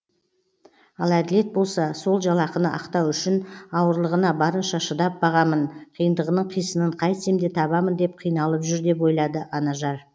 ал әділет болса сол жалақыны ақтау үшін ауырлығына барынша шыдап бағамын қиындығының қисынын қайтсем де табамын деп қиналып жүр деп ойлады анажар